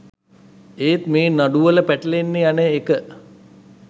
ඒත් මේ නඩුවල පැටලෙන්න යන එක